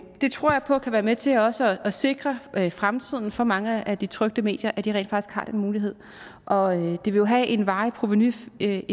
det tror jeg på kan være med til også at sikre fremtiden for mange af de trykte medier at de rent faktisk har den mulighed og det vil jo have en varig provenueffekt